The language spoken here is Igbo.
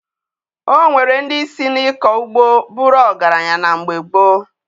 O nwere ndị si na-ịkọ ugbo bụrụ ọgaranya na mgbe gboo